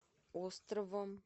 островом